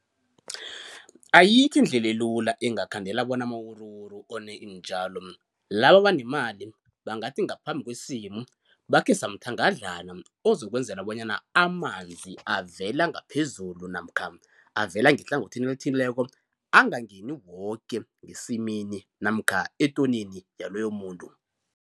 Ayikho indlela elula engakhandela bona amawuruwuru one iintjalo, laba abanemali bangathi ngaphambi kwesimo bakhe samthangadlana ozokwenzela bonyana amanzi avela ngaphezulu namkha avela ngehlangothini elithileko angangeni woke ngesimini namkha etonini yaloyo muntu.